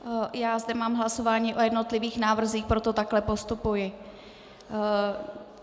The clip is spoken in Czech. Já zde mám hlasování o jednotlivých návrzích, proto takto postupuji.